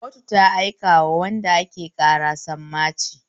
Kotu ta aika wa wanda ake ƙara sammaci